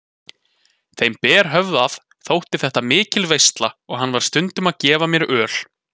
Þeim berhöfðaða þótti þetta mikil veisla og hann var stundum að gefa mér öl.